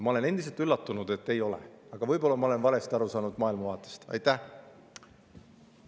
Ma olen endiselt üllatunud, et ei ole, aga võib-olla ma olen sellest maailmavaatest valesti aru saanud.